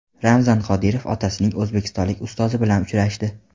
Ramzan Qodirov otasining o‘zbekistonlik ustozi bilan uchrashdi.